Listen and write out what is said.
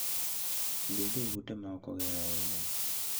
Bed e ute ma ok oger ahinya.